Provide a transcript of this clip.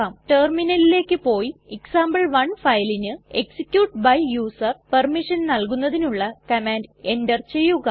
ടെർമിനലിലേക്ക് പോയി എക്സാംപിൾ1 ഫയലിന് execute by യൂസർ പെർമിഷൻ നൽകുന്നതിനുള്ള കമാൻഡ് എന്റർ ചെയ്യുക